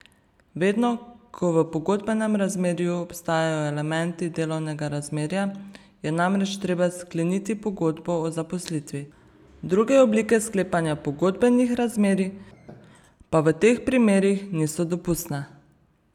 Vedno, ko v pogodbenem razmerju obstajajo elementi delovnega razmerja, je namreč treba skleniti pogodbo o zaposlitvi, druge oblike sklepanja pogodbenih razmerij pa v teh primerih niso dopustne.